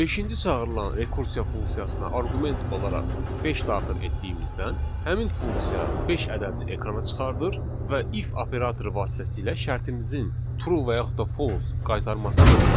Beşinci çağırılan rekursiya funksiyasına arqument olaraq beş daxil etdiyimizdən həmin funksiya beş ədədini ekrana çıxardır və if operatoru vasitəsilə şərtimizin true və yaxud da false qaytarmasını yoxlayır.